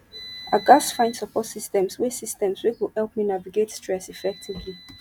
i gats find support systems wey systems wey go help me navigate stress effectively